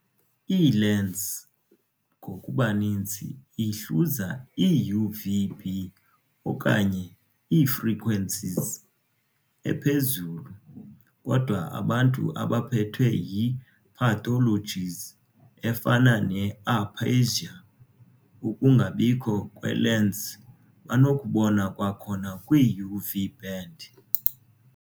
Ii-lens, ngokubaninzi, ihluza i-UV-B okanye ii-frequencies ephezulu, kodwa abantu abaphethwe yi-pathologies efana ne-aphasia, ukungabikho kwe-lens, banokubona kwakhona kwi-UV band.